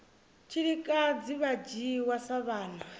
tshilikadzi vha dzhiwa sa vhana